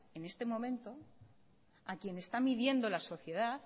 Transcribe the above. en este momento a quien está midiendo la sociedad